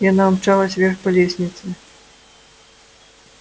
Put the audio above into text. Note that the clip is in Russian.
и она умчалась вверх по лестнице